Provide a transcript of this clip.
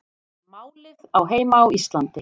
Málið á heima á Íslandi